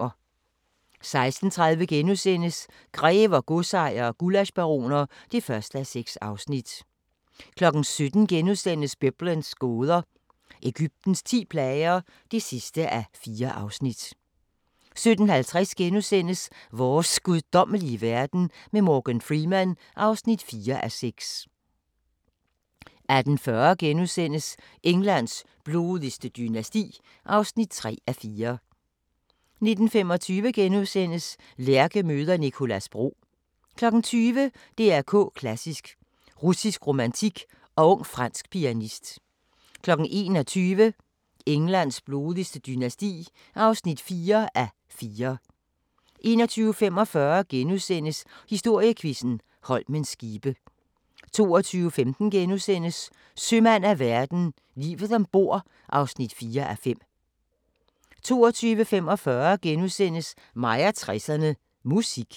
16:30: Grever, godsejere og gullaschbaroner (1:6)* 17:00: Biblens gåder – Egyptens ti plager (4:4)* 17:50: Vores guddommelige verden med Morgan Freeman (4:6)* 18:40: Englands blodigste dynasti (3:4)* 19:25: Lærke møder Nicolas Bro * 20:00: DR K Klassisk: Russisk romantik og ung fransk pianist 21:00: Englands blodigste dynasti (4:4) 21:45: Historiequizzen: Holmens skibe * 22:15: Sømand af verden – Livet ombord (4:5)* 22:45: Mig og 60'erne: Musik *